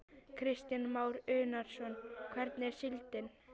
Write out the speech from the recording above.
Kristján Már Unnarsson: Hvernig er síldin?